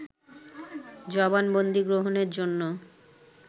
জবানবন্দি গ্রহণের জন্য